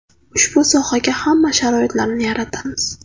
Ushbu sohaga hamma sharoitlarni yaratamiz.